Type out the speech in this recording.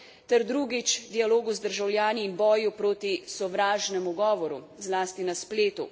ter, drugič, dialogu z državljani in boju proti sovražnemu govoru zlasti na spletu.